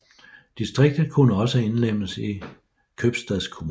Distriktet kunne også indlemmes i købstadskommunen